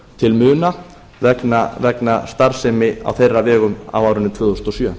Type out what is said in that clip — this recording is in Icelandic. til muna vegna starfsemi á þeirra vegum á árinu tvö þúsund og sjö